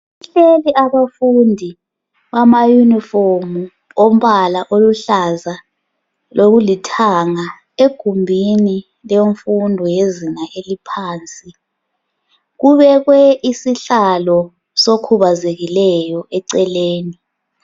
Kuhleli abafundi bamayunifomu ombala oluhlaza lokulithanga egumbini lemfundo yezinga eliphansi kubekwe isihlalo sokhubazekileyo eceleni.